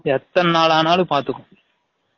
எதன் நால் ஆனாலும் பாதுக்கும்